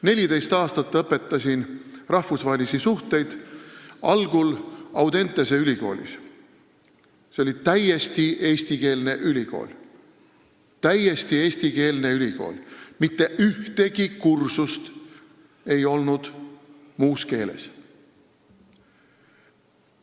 14 aastat õpetasin ma rahvusvahelisi suhteid, algul Audentese ülikoolis, mis oli täiesti eestikeelne ülikool, mitte ükski kursus ei olnud muus keeles.